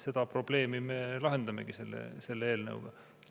Seda probleemi me lahendamegi selle eelnõuga.